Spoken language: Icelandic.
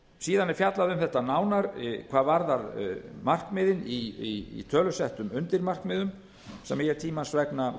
síðan er fjallað um þetta nánar hvað varðar markmiðin í tölusettum undirmarkmiðum sem ég tímans vegna